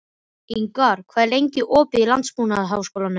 Ingvar, hvað er lengi opið í Landbúnaðarháskólanum?